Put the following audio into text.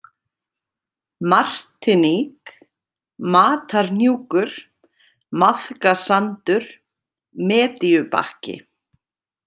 Martiník, Matarhnjúkur, Maðkasandur, Medíubakki